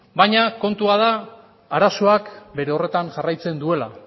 baina kontua da arazoak bere horretan jarraitzen duela